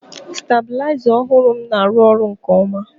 stabiliza ọhụrụ m na-arụ ọrụ nke ọma